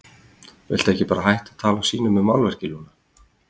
Viltu ekki bara hætta að tala og sýna mér málverkið, Lúna?